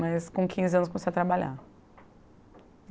Mas com quinze anos comecei a trabalhar.